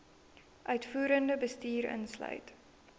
uitvoerende bestuur insluit